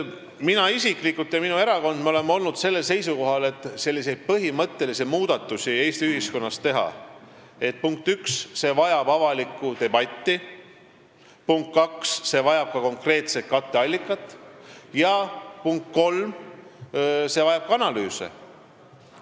Mina isiklikult ja minu erakond oleme sellel seisukohal, et selliste põhimõtteliste muudatuste Eesti ühiskonnas tegemine, punkt üks, vajab avalikku debatti, punkt kaks, see vajab konkreetset katteallikat, punkt kolm, see vajab ka analüüse.